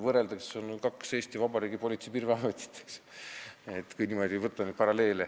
See on kaks Eesti Vabariigi Politsei- ja Piirivalveametit, eks ju, kui paralleele tõmmata.